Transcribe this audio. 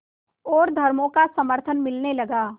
और धर्मों का समर्थन मिलने लगा